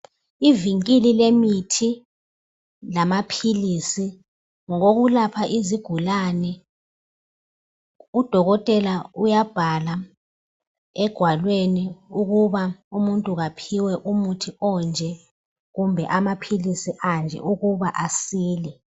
Ivinkili lemithi lamaphilisi ngokokulapha izigulane udokotela uyabhala egwalweni ukuba umuntu kaphiwe umuthi onje kumbe amaphilisi anje ukuba asile.